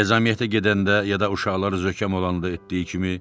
Ezamiyyətə gedəndə ya da uşaqları zökəm olanda etdiyi kimi